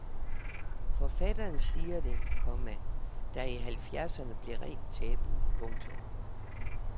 Forfatteren siger det, komma der i halvfjerdserne blev rent tabu. punktum